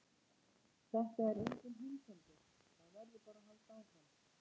Þetta er enginn heimsendir, það verður bara að halda áfram.